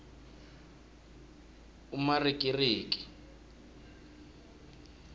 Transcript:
umarikiriki